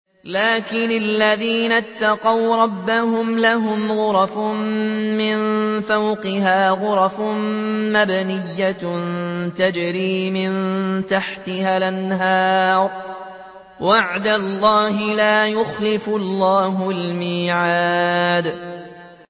لَٰكِنِ الَّذِينَ اتَّقَوْا رَبَّهُمْ لَهُمْ غُرَفٌ مِّن فَوْقِهَا غُرَفٌ مَّبْنِيَّةٌ تَجْرِي مِن تَحْتِهَا الْأَنْهَارُ ۖ وَعْدَ اللَّهِ ۖ لَا يُخْلِفُ اللَّهُ الْمِيعَادَ